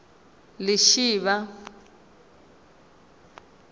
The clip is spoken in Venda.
lishivha